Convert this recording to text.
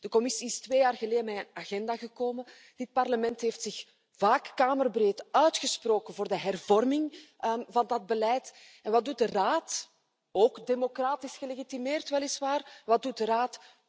De Commissie is twee jaar geleden met een agenda gekomen en dit Parlement heeft zich vaak kamerbreed uitgesproken voor de hervorming van dat beleid en wat doet de Raad ook democratisch gelegitimeerd weliswaar wat doet de Raad?